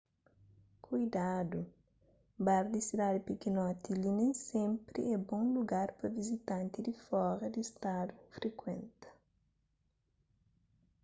kuidadu bar di sidadi pikinoti li nen sénpri é bon lugar pa vizitanti di fora di stadu frikuenta